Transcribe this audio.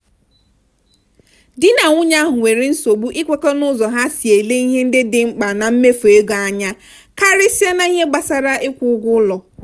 di na nwunye ahụ nwere nsogbu ikwekọ n'ụzọ ha si ele ihe ndị dị mkpa na mmefu ego anya karịsịa n'ihe gbasara ịkwụ ụgwọ ụlọ.